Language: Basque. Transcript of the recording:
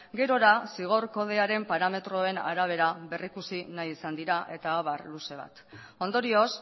gerora zigor kodearen parametroen arabera berrikusi nahi izan dira eta abar luze bat ondorioz